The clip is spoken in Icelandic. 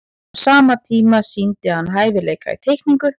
á sama tíma sýndi hann hæfileika í teikningu